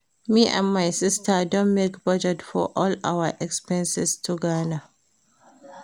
Me and my sister don make budget for all our expenses to Ghana